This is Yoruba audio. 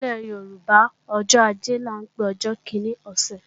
Nílẹ̀ Yorùbá, ọjọ́ ajé là ń pe ọjọ́ kíní ọ̀sẹ̀